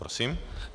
Prosím.